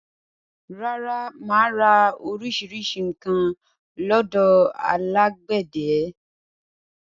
Rárá, mà á ra orísirísi nǹkan lọ́dọ̀ alágbẹ̀dẹ